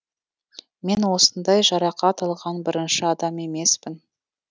мен осындай жарақат алған бірінші адам емеспін